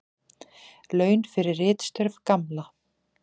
Laun fyrir ritstörf Gamla.